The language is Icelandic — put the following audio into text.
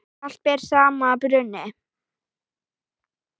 Allt ber að sama brunni.